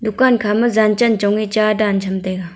dukan khama jan chan chong ee cha dan cham taiga.